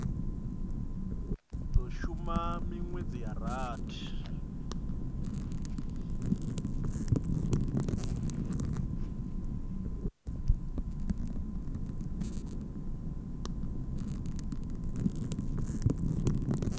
do shuma minwedzi ya rathi